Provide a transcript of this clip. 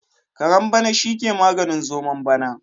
Kare bana shi ke maganin zomon bana.